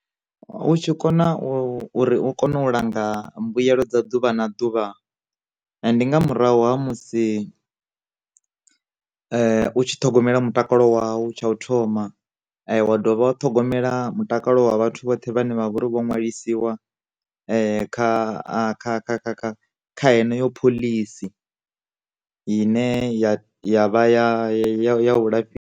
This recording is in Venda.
U tshi kona u uri u kone u langa mbuyelo dza ḓuvha na ḓuvha, ndi nga murahu ha musi u tshi ṱhogomela mutakalo wau tsha u thoma, wa dovha wa u ṱhogomela mutakalo wa vhathu vhoṱhe vhane vhavha uri vho nwalisiwa kha kha kha kha kha kha henoyo phoḽisi ine ya ya vha ya ya ya u lafh .